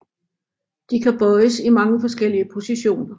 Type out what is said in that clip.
De kan bøjes i mange forskellige positioner